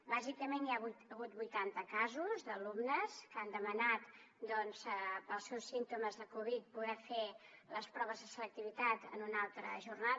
bàsicament hi ha hagut vuitanta casos d’alumnes que han demanat pels seus símptomes de covid poder fer les proves de selectivitat en una altra jornada